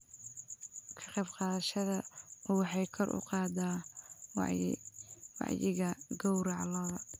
Ka qaybqaadashada U waxay kor u qaadaa wacyiga gawraca lo'da.